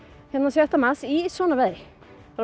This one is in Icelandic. sjötta mars í svona veðri